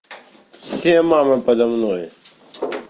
все мамы подо мной